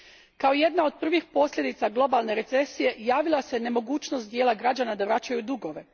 Kao jedna od prvih posljedica globalne recesije javila se nemogućnost dijela građana da vraćaju dugove.